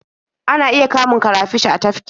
Ana iya kamun karafish a tafki.